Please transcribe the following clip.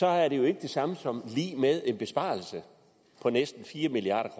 er det jo ikke lig med en besparelse på næsten fire milliard